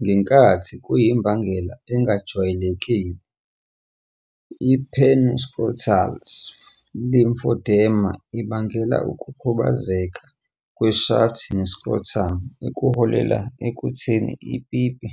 Ngenkathi kuyimbangela engajwayelekile, i-penoscrotal lymphodema ibangela ukukhubazeka kweshaft ne-scrotum, okuholele ekuthini ipipi